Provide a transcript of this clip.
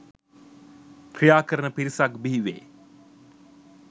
ක්‍රියාකරන පිරිසක් බිහිවේ.